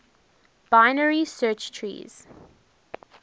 binary search trees